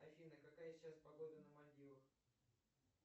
афина какая сейчас погода на мальдивах